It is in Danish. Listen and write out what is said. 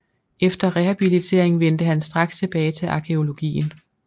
Efter rehabiliteringen vendte han straks tilbage til arkæologien